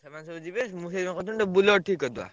ସେମାନେ ସବୁ ଯିବେ ମୁଁ ସେଇଥିପାଇଁ କହୁଛି ଗୋଟେ Bolero ଠିକ୍ କରିଦବା।